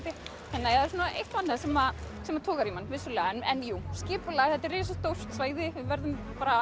er eitt og annað sem sem togar í mann skipulag þetta er risastórt svæði við verðum